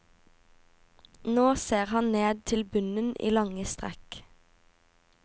Nå ser han ned til bunnen i lange strekk.